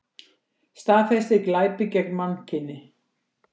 Staðfestir glæpi gegn mannkyni